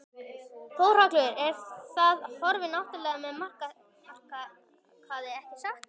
Þórhallur: En það horfir ágætlega með markaði ekki satt?